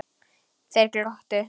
Þeir glottu.